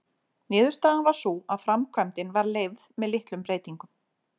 Niðurstaðan varð sú að framkvæmdin var leyfð með litlum breytingum.